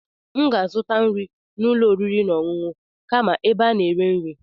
M ga-azụta nri n'ụlọ oriri na ọṅụṅụ kama ebe a na-eri nri.